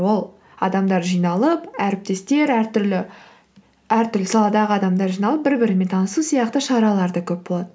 ол адамдар жиналып әріптестер әртүрлі әртүрлі саладағы адамдар жиналып бір бірімен танысу сияқты шаралар да көп болады